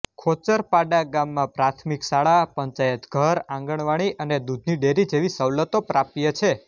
ખોચરપાડા ગામમાં પ્રાથમિક શાળા પંચાયતઘર આંગણવાડી અને દૂધની ડેરી જેવી સવલતો પ્રાપ્ય છે